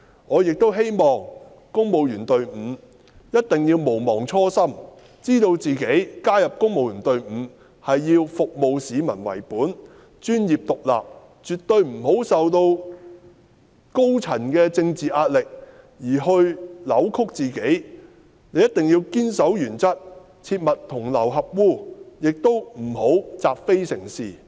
我亦希望公務員隊伍一定要毋忘初心，知道自己加入公務員隊伍是以服務市民為本，並能專業獨立地處事，絕對不要因受高層的政治壓力而扭曲自己的想法；一定要堅守原則，切勿同流合污，亦不要習非成是。